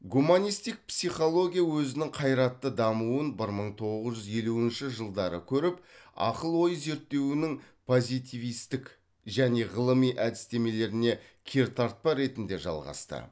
гуманисттік психология өзінің қайратты дамуын бір мың тоңыз жүз елуәншә жылдары көріп ақыл ой зерттеуінің позитивисттік және ғылыми әдістемелеріне кертартпа ретінде жалғасты